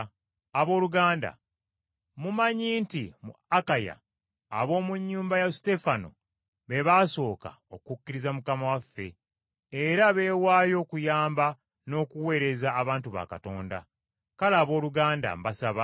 Abooluganda, mumanyi nti mu Akaya ab’omu nnyumba ya Suteefana be baasooka okukkiriza Mukama waffe, era beewaayo okuyamba n’okuweereza abantu ba Katonda. Kale, abooluganda, mbasaba